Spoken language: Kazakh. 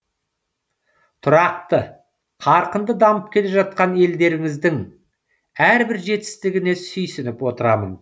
тұрақты қарқынды дамып келе жатқан елдеріңіздің әрбір жетістігіне сүйсініп отырамын